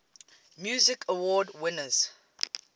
music awards winners